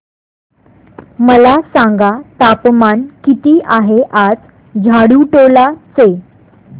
मला सांगा तापमान किती आहे आज झाडुटोला चे